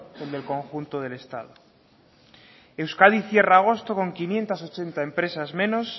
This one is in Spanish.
en conjunto del estado euskadi cierra agosto con quinientos ochenta empresas menos